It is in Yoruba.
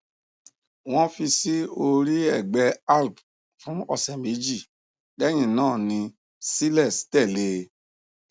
wọn fi sí orí ẹgbẹ alp fún ọsẹ méjì lẹyìn náà ni cilex tẹlé e